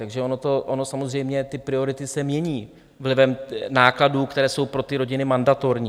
Takže ono samozřejmě ty priority se mění vlivem nákladů, které jsou pro ty rodiny mandatorní.